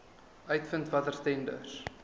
uitvind watter tenders